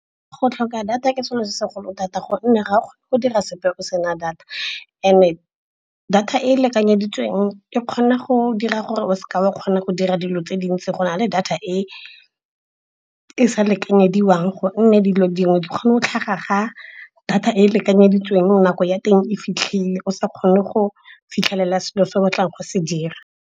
Go tlhoka data ke selo se segolo data gonne ga go dira sepe o sena data. And-e data e e lekanyeditsweng e kgona go dira gore o seka wa kgona go dira dilo tse dintsi go na le data e e sa lekanyediwang. Gonne dilo dingwe di kgone go tlhaga ga data e e lekanyeditsweng nako ya teng e fitlhile, o sa kgone go fitlhelela selo se o batlang go se dira.